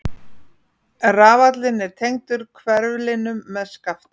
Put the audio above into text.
Rafallinn er tengdur hverflinum með skafti.